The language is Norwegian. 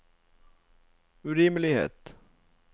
urimelighet